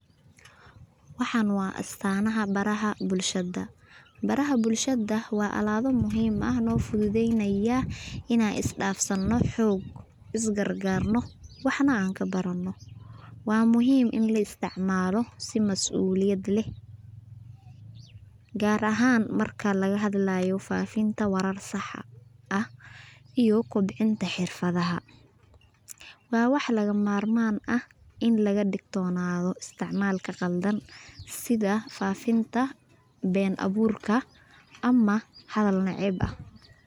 Waaxan waa astaanaha baraha bulshada. baraha bulshada waa alaabo muhiim ah noofudhudheynaya inaan isdaafsano xoog isgargaarno waxn aan kabarano. Waa muhiim in laisticmaalo si masuuliyad leh gaar ahaan marka faafinta warar sax ah iyo kobcinta xirfadhaha. Waa wax lagamarmaaan ah in lagadigtoonadha isticmaalka qaldan sidha faafinta been abuurka ama hadhal naceeb ah.